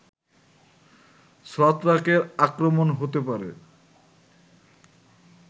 ছত্রাকের আক্রমণে হতে পারে